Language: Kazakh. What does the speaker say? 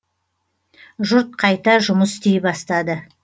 жұрт қайта жұмыс істей бастады